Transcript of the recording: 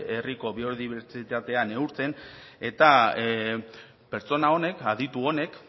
herriko biodibertsitatea neurtzen eta pertsona honek aditu honek